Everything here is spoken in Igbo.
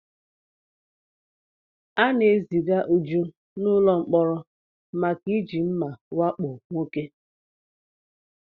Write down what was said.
A na-eziga uju n'ụlọ mkpọrọ maka iji mma wakpo nwoke